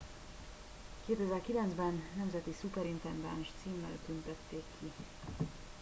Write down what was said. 2009 ben nemzeti szuperintendáns címmel tüntették ki